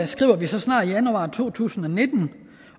skriver vi så snart januar to tusind og nitten